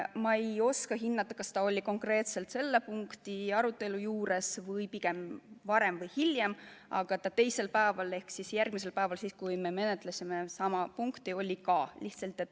Ma ei oska öelda, kas ta osales konkreetselt selle punkti arutelul või vaid varem või hiljem, aga ta teisel päeval ehk järgmisel päeval, kui me menetlesime sama punkti, oli ka kohal.